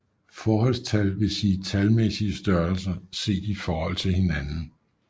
Forholdstal vil sige talmæssige størrelser set i forhold til hinanden